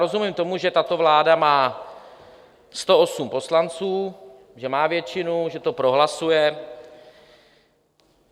Rozumím tomu, že tato vláda má 108 poslanců, že má většinu, že to prohlasuje.